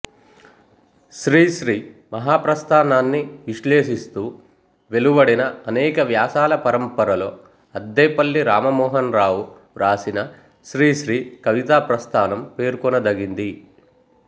శ్రీశ్రీ మహాప్రస్థానాన్ని విశ్లేషిస్తూ వెలువడిన అనేక వ్యాసాల పరంపరలో అద్దేపల్లి రామమోహనరావు వ్రాసిన శ్రీశ్రీ కవితాప్రస్థానం పేర్కొనదగింది